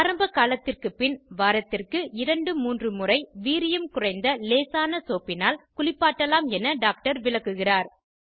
ஆரம்ப காலத்திற்கு பின் வாரத்திற்கு 2 3 முறை வீரியம் குறைந்த லேசான சோப்பினால் குளிப்பாட்டலாம் என டாக்டர் விளக்குகிறார்